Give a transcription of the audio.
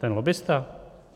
Ten lobbista?